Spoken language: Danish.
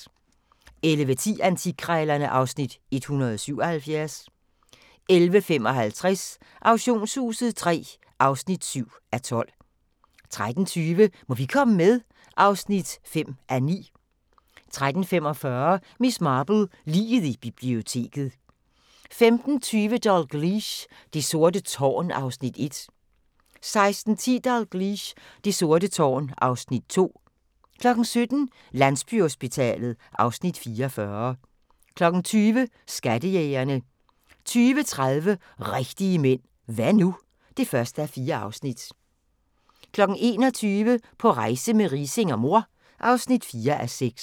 11:10: Antikkrejlerne (Afs. 177) 11:55: Auktionshuset III (7:12) 13:20: Må vi komme med? (5:9) 13:45: Miss Marple: Liget i biblioteket 15:20: Dalgliesh: Det sorte tårn (Afs. 1) 16:10: Dalgliesh: Det sorte tårn (Afs. 2) 17:00: Landsbyhospitalet (Afs. 44) 20:00: Skattejægerne 20:30: Rigtige Mænd – Hva' nu? (1:4) 21:00: På rejse med Riising og mor (4:6)